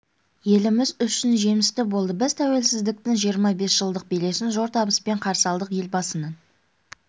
еліміз үшін жемісті болды біз тәуелсіздіктің жиырма бес жылдық белесін зор табыспен қарсы алдық елбасының